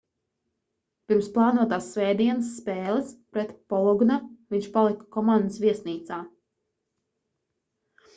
pirms plānotās svētdienas spēles pret ¨bologna¨ viņš palika komandas viesnīcā